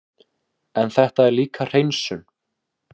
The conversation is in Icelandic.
En þetta er líka hreinsun.